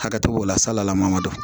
Hakɛ t'o la salama don